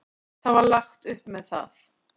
Það var lagt upp með það.